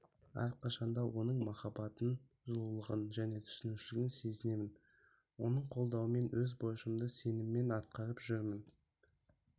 әрқашан да оның махаббатын жылулығын және түсінушілігін сезінемін оның қолдауымен өз борышымды сеніммен атқарып жүрмін